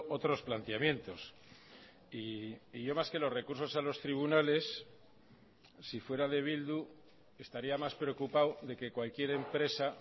otros planteamientos y yo más que los recursos a los tribunales si fuera de bildu estaría más preocupado de que cualquier empresa